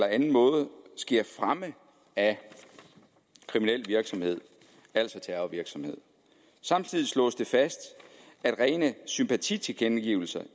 anden måde sker fremme af kriminel virksomhed altså terrorvirksomhed samtidig slås det fast at rene sympatitilkendegivelser